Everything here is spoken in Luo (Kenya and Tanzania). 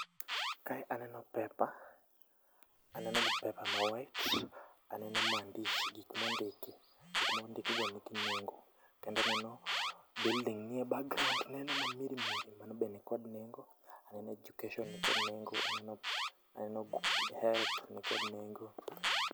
kae aneno paper aneno paper ma white, aneno maandishi gik mondiki, gik mondiki go nigi nego. Kendo aneno building ni e background neno ma mirimiri mano be nikod nengo. Aneno education ni kod nengo, aneno health ni kod nengo.